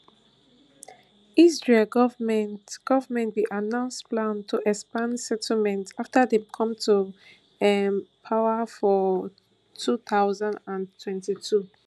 israel goment goment bin announce plan to expand settlements after dem come to um power for two thousand and twenty-two